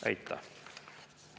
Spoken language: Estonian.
Aitäh!